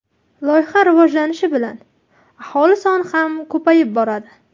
Loyiha rivojlanishi bilan aholi soni ham ko‘payib boradi.